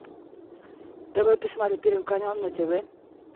давай посмотрю первый канал на тв